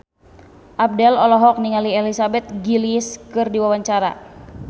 Abdel olohok ningali Elizabeth Gillies keur diwawancara